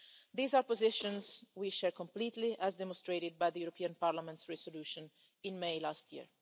These are positions we share completely, as demonstrated by the European Parliament's resolution in May last year.